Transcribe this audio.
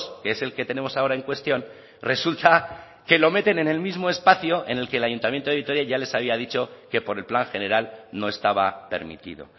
que es el que tenemos ahora en cuestión resulta que lo meten en el mismo espacio en el que el ayuntamiento de vitoria ya les había dicho que por el plan general no estaba permitido